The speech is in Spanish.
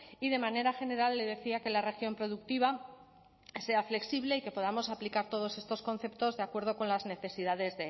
y de manera general le decía que la región productiva sea flexible y que podamos aplicar todos estos conceptos de acuerdo con las necesidades